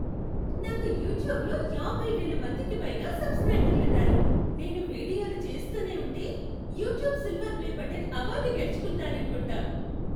నాకు యూట్యూబ్లో యాభై వేల మందికి పైగా సబ్స్క్రైబర్లున్నారు. నేను వీడియోలు చేస్తూనే ఉంటే, "YouTube silver play button" award గెలుచుకుంటాననుకుంటా.